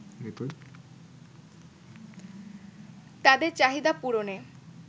তাদের চাহিদা পূরণে